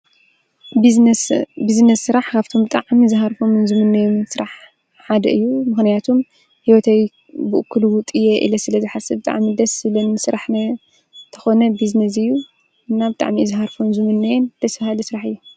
ቢዝነስ ስራሕ ኻብቶም ብጣዕሚ ዝሃርፎምን ዝሙነዮም ስራሕ ሓደ እዩ፡፡ ምኾንያቱም ህይወተይ ብኡ ክሉውጥ እየ ኢለ ስለዝሓስብ ብጣዕሚ ደስ ዝብለኒ ስራሕ ተኾነ ብዝነስ እዩ፡፡ እና ብ ጣዕሚ ዝሃርፎን ዝሙነዮን ደስ በሃሊ ስራሕ እዩ፡፡